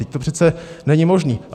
Vždyť to přece není možné.